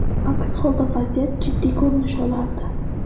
Aks holda vaziyat jiddiy ko‘rinish olardi.